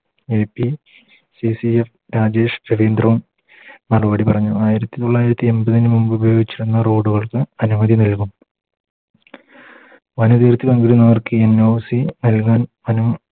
AP യും CCF Rajesh മറുപടി പറഞ്ഞു ആയിരത്തി തൊള്ളായിരത്തി എൺപതിനു മുൻപ് ഉപയോഗിച്ചിരുന്ന Road കൾക്ക് അനുമതി നൽകും പണി തീർത്ത് നൽകുന്നവർക്ക് NOC നല്കാൻ അനു